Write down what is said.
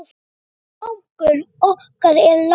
Axel mágur okkar er látinn.